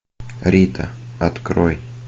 рита открой